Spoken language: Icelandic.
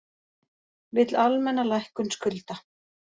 Vill almenna lækkun skulda